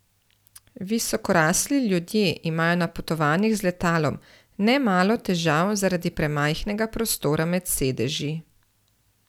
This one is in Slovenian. Visokorasli ljudje imajo na potovanjih z letalom nemalo težav zaradi premajhnega prostora med sedeži.